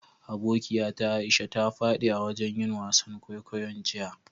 Abokiya ta Aisha ta fadi a'wajen yin wasan kwaikwayo'n jiya.